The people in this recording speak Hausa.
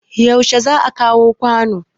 yaushe za a kawo kwanon